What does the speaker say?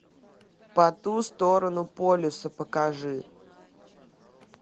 по ту сторону полюса покажи